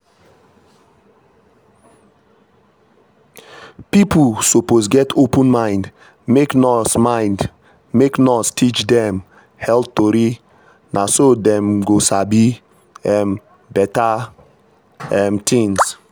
people suppose get open mind make nurse mind make nurse teach dem health tori na so dem go sabi um better um things.